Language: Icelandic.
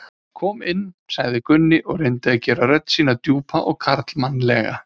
Kom inn, sagði Gunni og reyndi að gera rödd sína djúpa og karlmannlega.